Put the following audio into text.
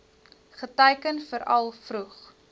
geteiken veral vroeg